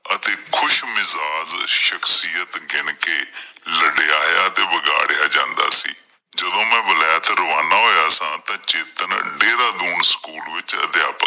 ਅਤੇ ਖੁਸ਼ ਮਿਜਾਜ ਸ਼ਕਸ਼ਿਆਤ ਗਿਣ ਕੇ ਰੰਡਿਆਇਆ ਤੇ ਵਿਗਾੜਿਆ ਜਾਂਦਾ ਸੀ। ਜਦੋਂ ਮੈਂ ਬੁਲਾਇਆ ਤਾਂ ਰਵਾਨਾ ਹੋਇਆ ਸਾਂ ਤੇ ਚੇਤਨ ਜਿਹਦਾ ਰੋਲ ਸਕੂਲ ਵਿੱਚ ਅਧਿਆਪਕ